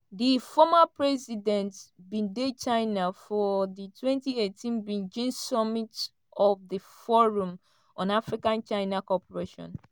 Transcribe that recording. di former president bin dey china for di 2018 beijing summit of di forum on africa-china cooperation.